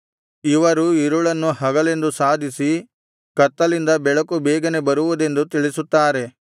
ಇವರು ಇರುಳನ್ನು ಹಗಲೆಂದು ಸಾಧಿಸಿ ಕತ್ತಲಿಂದ ಬೆಳಕು ಬೇಗನೆ ಬರುವುದೆಂದು ತಿಳಿಸುತ್ತಾರೆ